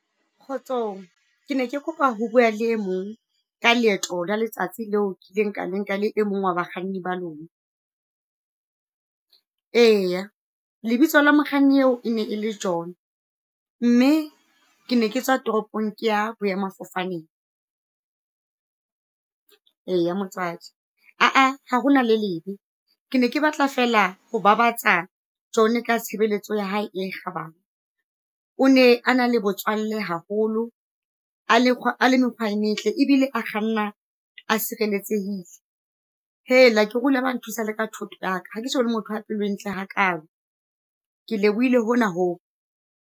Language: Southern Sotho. Kgotsong ke ne ke kopa ho bua le e mong ka leeto la letsatsi leo ke ileng ka le nka la e mong wa bakganni ba lona. Eya, lebitso la mokganni eo e ne e le John, mme ke ne ke tswa tropong ke ya boemafofaneng. Eya motswadi ah ah, ha hona le lebe, ke ne ke batla fela ho babatsa John-e ka tshebeletso ya hae e kgabane, o ne a na le botswalle haholo a le mekgwa e metle ebile a kganna a sireletsehile. Hela! Ke re o ile a ba a nthusa le ka thotho yaka, hake so bone motho a pelo e ntle ha kalo. Ke lebohile hona ho.